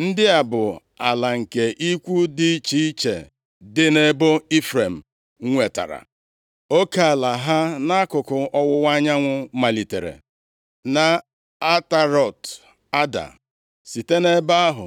Ndị a bụ ala nke ikwu dị iche iche dị nʼebo Ifrem nwetara. Oke ala ha nʼakụkụ ọwụwa anyanwụ malitere nʼAtarọt-Ada. Site nʼebe ahụ,